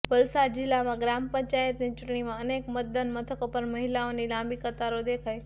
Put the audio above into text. વલસાડ જિલ્લામાં ગ્રામ પંચાયતની ચૂંટણીમાં અનેક મતદાન મથકો પર મહિલાઓની લાંબી કતારો દેખાઈ